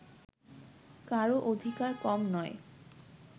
কারও অধিকার কম নয়